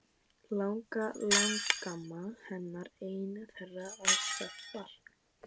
Langalangamma hennar ein þeirra að sagt var.